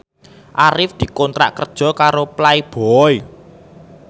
Arif dikontrak kerja karo Playboy